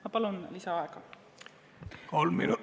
Ma palun lisaaega!